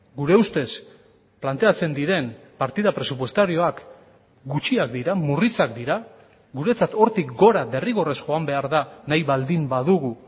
gure ustez planteatzen diren partida presupuestarioak gutxiak dira murritzak dira guretzat hortik gora derrigorrez joan behar da nahi baldin badugu